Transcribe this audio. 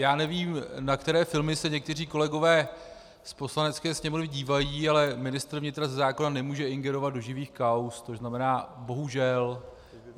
Já nevím, na které filmy se někteří kolegové z Poslanecké sněmovny dívají, ale ministr vnitra ze zákona nemůže ingerovat do živých kauz, což znamená bohužel.